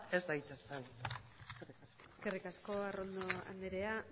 ez daitezen eskerrik asko arrondo andrea